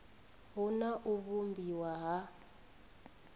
hu na u vhumbiwa ha